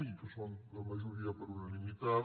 i que són la majoria per unanimitat